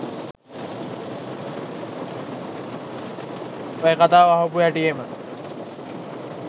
ඔය කතාව අහපු හැටියෙම